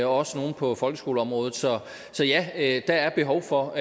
også nogle på folkeskoleområdet så ja der er behov for